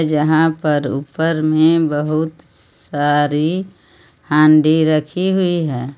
जहां पर ऊपर में बहुत सारी हांडी रखी हुई है.